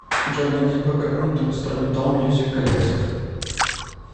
джой найди бэкграунд инструментал мьюзик коллектив